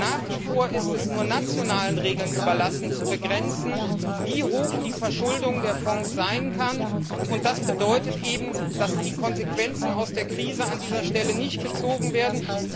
Nach wie vor ist es nur nationalen Regeln überlassen zu begrenzen, wie hoch die Verschuldung der Fonds sein kann, und das bedeutet eben, dass die Konsequenzen aus der Krise an dieser Stelle nicht gezogen werden.